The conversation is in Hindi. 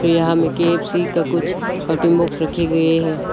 यहां में के_एफ_सी का कुछ कटिंग बॉक्स रखे गए हैं।